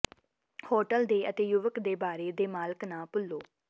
hotel ਦੇ ਅਤੇ ਯੁਵਕ ਦੇ ਬਾਰੇ ਦੇ ਮਾਲਕ ਨਾ ਭੁੱਲੋ